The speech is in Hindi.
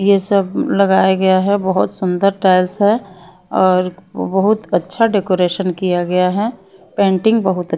ये सब लगाया गया है बहुत सुंदर टाइल्स है और बहुत अच्छा डेकोरेशन किया गया है पेंटिंग बहुत --